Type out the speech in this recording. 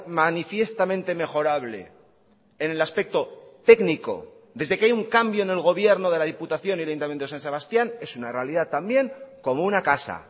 manifiestamente mejorable en el aspecto técnico desde que hay un cambio en el gobierno de la diputación y el ayuntamiento de san sebastián es una realidad también como una casa